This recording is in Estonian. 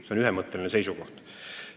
See on ühemõtteline seisukoht.